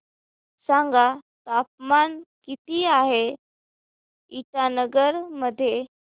सांगा तापमान किती आहे इटानगर मध्ये